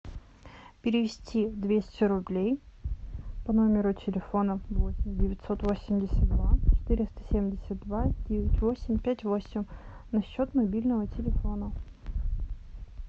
перевести двести рублей по номеру телефона восемь девятьсот восемьдесят два четыреста семьдесят два девять восемь пять восемь на счет мобильного телефона